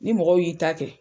Ni mɔgɔw y'i ta kɛ